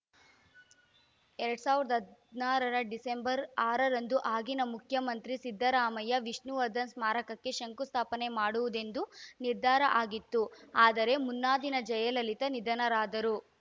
ಎರಡ್ ಸಾವಿರದ ಹದಿನಾರರ ಡಿಸೆಂಬರ್‌ ಆರರಂದು ಆಗಿನ ಮುಖ್ಯಮಂತ್ರಿ ಸಿದ್ದರಾಮಯ್ಯ ವಿಷ್ಣುವರ್ಧನ್‌ ಸ್ಮಾರಕಕ್ಕೆ ಶಂಕುಸ್ಥಾಪನೆ ಮಾಡುವುದೆಂದು ನಿರ್ಧಾರ ಆಗಿತ್ತು ಆದರೆ ಮುನ್ನಾದಿನ ಜಯಲಲಿತಾ ನಿಧನರಾದರು